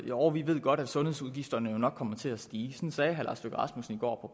jo vi ved godt at sundhedsudgifterne nok kommer til at stige sådan sagde herre lars løkke rasmussen i går